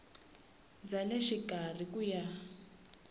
bya le xikarhi ku ya